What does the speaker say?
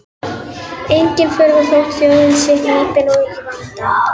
Engin furða þótt þjóðin sé hnípin og í vanda.